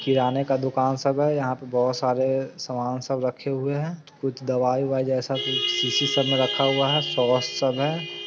किराने का दुकान सब है यहाँ पे बहुत सरे सामान सब रखे हुआ है कुछ दवाई ववाइ जैसा कुछ सब रखा हुआ है शीशी में सब रखा हुआ है सॉस सब है।